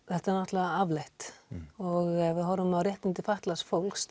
þetta er náttúrulega afleitt ef við horfum á réttindi fatlaðs fólks